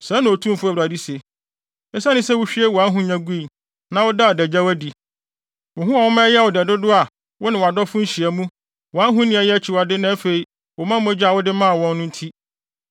Sɛɛ na Otumfo Awurade se. Esiane sɛ wuhwie wʼahonya gui, na wodaa wʼadagyaw adi, wo ho a woma ɛyɛɛ wo dɛ dodo wɔ wo ne wʼadɔfo nhyiamu, wʼahoni a ɛyɛ akyiwade na afei wo mma mogya a wode maa wɔn no nti,